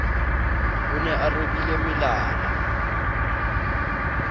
o ne a robile melala